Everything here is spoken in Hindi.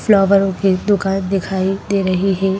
फ्लावरों की दुकान दिखाई दे रही है।